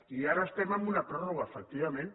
i ara estem en una pròrroga efectivament